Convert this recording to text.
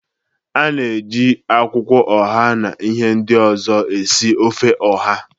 A na-eji akwụkwọ oha na ihe ndị ọzọ esi ofe oha.